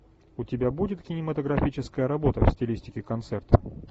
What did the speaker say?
у тебя будет кинематографическая работа в стилистике концерта